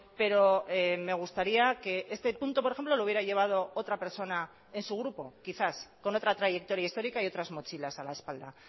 pero me gustaría que este punto por ejemplo lo hubiera llevado otra persona en su grupo quizás con otra trayectoria histórica y otras mochilas a la espalda